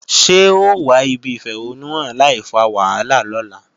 Ṣé o wà ibi ìfẹ̀hónúhàn láìfa wàhálà lọ́la?